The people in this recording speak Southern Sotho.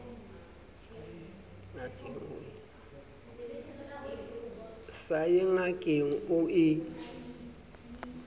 sa ye ngakeng o e